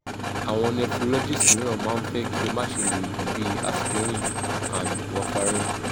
awon nephrologists miran ma n fe ki o ma se lo oogun bi aspirin and warfarin